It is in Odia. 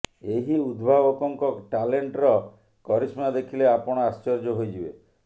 ଏହି ଉଦ୍ଭାବକଙ୍କ ଟାଲେଣ୍ଟର କରିସ୍ମା ଦେଖିଲେ ଆପଣ ଆଶ୍ଚର୍ଯ୍ୟ ହୋଇଯିବେ